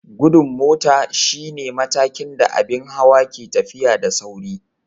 Gudun mota shine matakin da abin hawa ke tafiya da sauri.